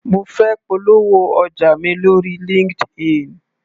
Mo fẹ́ polówó ọjà mi lóri Linkedin.